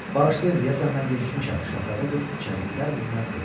Bağışlayın, deyəsən mən gecikmişəm, şahzadə qız içəri girər-girməz dedi.